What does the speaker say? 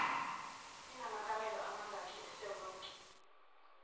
inamakamelo amangaki esewonke